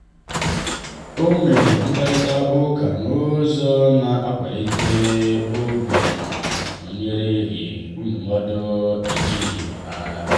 ọ mere mkparịta ụka n’ụzọ na-akwalite obi ma o nyereghị ndụmọdụ a jụghị ya.